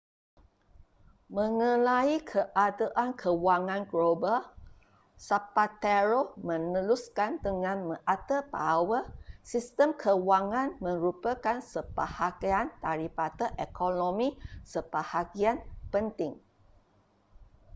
mengenai keadaan kewangan global zapatero meneruskan dengan mengata bahawa sistem kewangan merupakan sebahagian daripada ekonomi sebahagian penting